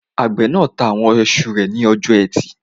Àgbẹ̀ náà ta àwọn iṣu rẹ̀ lọ́jọ́ ẹtì